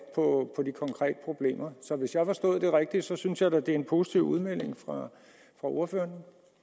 på de konkrete problemer så hvis jeg forstod det rigtigt synes jeg da at det er en positiv udmelding fra ordføreren